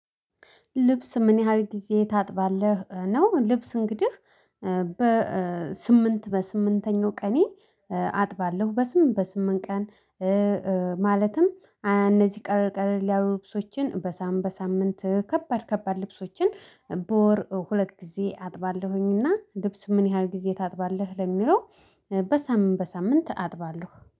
ልብስ ምን ያህል ጊዜ ታጥባለህ ነው? ልብስ እንግዲህ በስምንት በስምንተኛው ቀኔ አጥባለሁ በስምንት በስምንት ቀን። ማለትም እነዚህ ቀለል ቀለል ያሉ ልብሶችን በሳምንት በሳምንት ከባድ ከባድ ልብሶችን በወር ሁለት ጊዜ አጥባለሁኝና። ልብስ ምን ያህል ጊዜ ታጥባለህ ለሚለው? በሳምንት በሳምንት አጥባለሁ